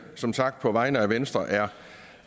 som sagt på vegne af venstre er